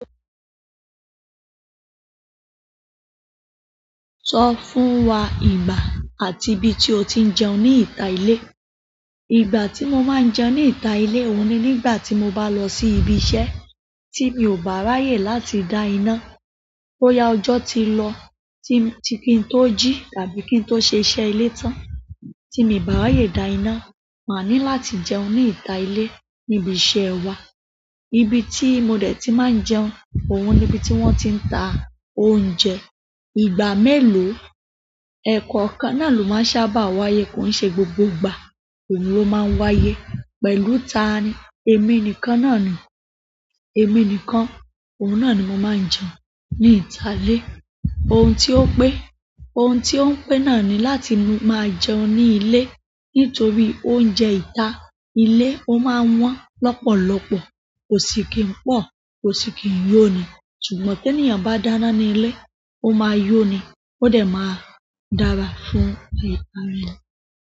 Sọ fún wa ìgbà àti ibi tí o ti ń jẹun ní ìta ilé. Ìgbà tí mo máa ń jẹun ní ìta ilé òun ni nígbà tí mo bá lọ sí ibi iṣẹ́ tí mi ò bá ráyè láti dá iná. Bóyá ọjọ́ tí lọ ti m ti-- kí n tó jí tàbí kí n tó ṣe iṣẹ́ ilé tán, tí míì bá ráyè dá iná máa ní láti jẹun ní ìta ilé níbi iṣẹ́ wà. Ibi tí mo dẹ̀ ti máa ń jẹun, òun ni ibi tí wọ́n ti ń ta oúnjẹ. Ìgbà mélòó, ẹ̀ekọọ̀kan náà ló máa ń sábà wáyé, kò ń ṣe gbogbo ìgbà òun ló máa ń wáyé. Pẹ̀lú tani? Èmi nìkan náà ni. Èmi nìkan, òun náà ni mo máa ń jẹun ní ìta ilé. Ohun tí ó pé. Ohun tí o ń pé naani láti máa jẹun ní ilé, nítorí oúnjẹ ìta ilé ó máa ń wọ́n lọ́pọ̀lọpọ̀, kò sí kí n po, kò sí kí n yọ ni. Ṣùgbọ́n teniyan bá dáná ní ilé, ó máa yọ ni, ó dẹ̀ máa dára fún ni.